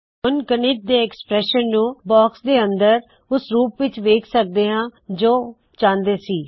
ਹੁਣ ਗਣਿਤ ਦੇ ਐਕ੍ਸਪ੍ਰੈੱਸ਼ਨ ਉਕਤਿ ਐਕਸਪ੍ਰੈਸ਼ਨ ਨੂੰ ਬਾਕਸ ਦੇ ਅੰਦਰ ਓਸ ਰੂਪ ਵਿੱਚ ਵੇਖ ਸਕਦੇ ਹੋ ਜੋ ਚਾਹੁੰਦੇ ਸੀ